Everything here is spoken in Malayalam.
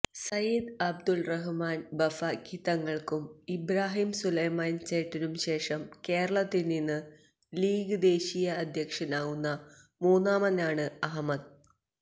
സയ്യിദ് അബ്ദുറഹ്മാന് ബാഫക്കി തങ്ങള്ക്കും ഇബ്രാഹിം സുലൈമാന് സേട്ടിനും ശേഷം കേരളത്തില് നിന്ന് ലീഗ് ദേശീയ അധ്യക്ഷനാകുന്ന മൂന്നാമനാണ് അഹമ്മദ്